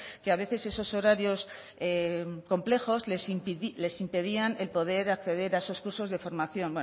que a veces esos horarios complejos les impedían el poder acceder a los cursos de formación